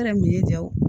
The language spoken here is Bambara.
Yɛrɛ min ye ja o